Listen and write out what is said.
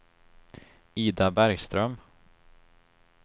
Ida Bergström